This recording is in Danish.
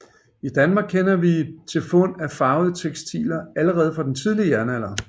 I Danmark kender vi til fund af farvede tekstiler allerede fra den tidlige jernalder